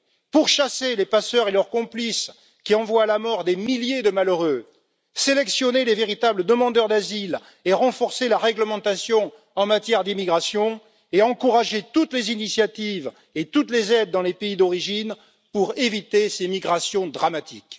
pourchasser les passeurs et leurs complices, qui envoient à la mort des milliers de malheureux, sélectionner les véritables demandeurs d'asile et renforcer la réglementation en matière d'immigration, et encourager toutes les initiatives et toutes les aides dans les pays d'origine, pour éviter ces migrations dramatiques.